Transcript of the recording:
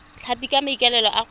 tlhapi ka maikaelelo a kgwebo